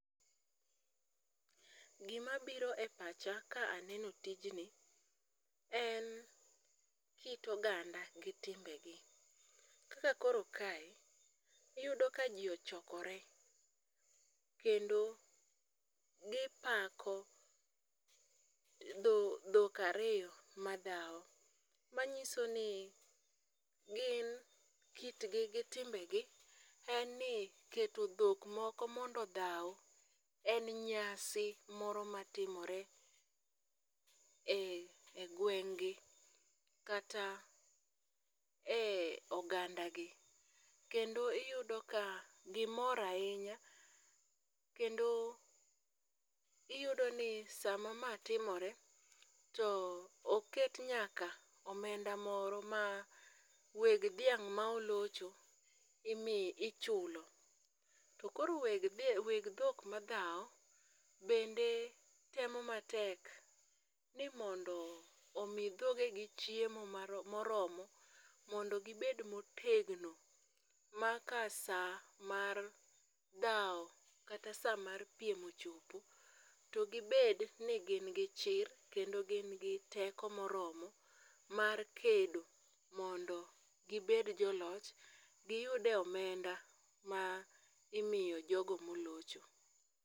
Gimabiro e pacha ka aneno tijni en kit oganda gi timbegi, kaka koro kae, iyudo ka ji ochokore, kendo gipako dhok ariyo madhawo, manyiso ni gin kit gi gi timbegi en ni keto dhok moko mondo odhaw en nyasi moro matimore e gweng'gi, kata e ogandagi, kendo iyudo ka gimor ahinya kendo iyudoni sama ma timore, to oket nyaka omenda moro ma weg dhiang' ma olocho, ichulo, to koro weg dhok madhawo, bende temo matek ni mondo omi dhogegi chiemo moromo mondo gibed motegno ma ka sa mar dhawo kata sa mar piem ochopo, to gibed ni gin gi chir kendo gin gi teko moromo mar kedo mondo gibed joloch, giyude omenda ma imiyo jogo molocho.